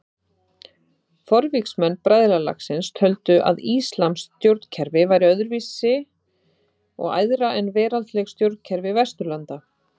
Forvígismenn bræðralagsins töldu að íslamskt stjórnkerfi væri öðru vísi og æðra en veraldleg stjórnkerfi Vesturlanda.